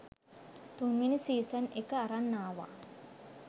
තුන්වෙනි සීසන් එක අරන් ආවා.